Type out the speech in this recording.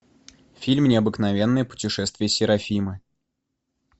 фильм необыкновенное путешествие серафимы